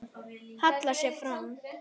Hallar sér fram.